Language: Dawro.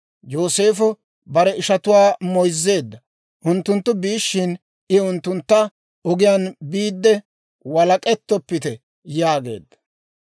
Yooseefo bare ishatuwaa moyzzeedda. Unttunttu biishshin I unttuntta, «Ogiyaan biidde walak'ettoppite» yaageedda.